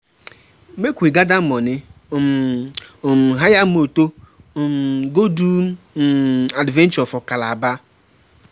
Make we gather money, um um hire moto, um go do um adventure for Calabar